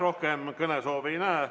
Rohkem kõnesoove ei näe.